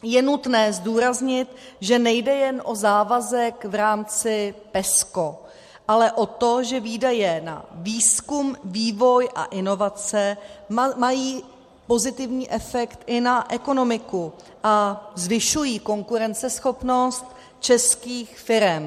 Je nutné zdůraznit, že nejde jen o závazek v rámci PESCO, ale o to, že výdaje na výzkum, vývoj a inovace mají pozitivní efekt i na ekonomiku a zvyšují konkurenceschopnost českých firem.